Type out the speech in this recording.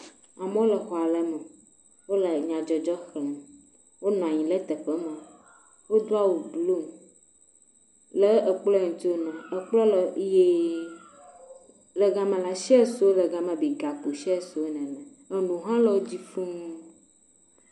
Amewo xɔ aɖe me wole nyadzɔdzɔ xlem wonɔ anyi ɖe teƒe ma wodo awu blu ekplɔa ŋti wonɔa kplɔa le ɣi le gama la tseyawo le gama gakpo tseyawo le gama enu ha le wodzi fuu